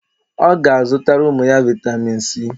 O ga azutara umu ya vitamin C.